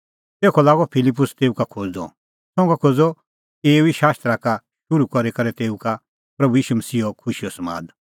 तेखअ लागअ फिलिप्पुस तेऊ का खोज़दअ संघा खोज़अ एऊ ई शास्त्रा का शुरू करी करै तेऊ का प्रभू ईशू मसीहो खुशीओ समाद